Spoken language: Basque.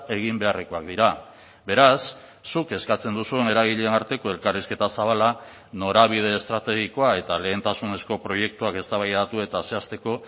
egin beharrekoak dira beraz zuk eskatzen duzun eragileen arteko elkarrizketa zabala norabide estrategikoa eta lehentasunezko proiektuak eztabaidatu eta zehazteko